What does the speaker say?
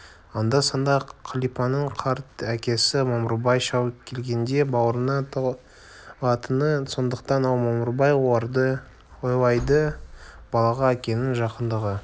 анда-санда қалипаның қарт әкесі мамырбай шал келгенде бауырына тығылатыны сондықтан ал мамырбай ойлайды балаға әкенің жақындығы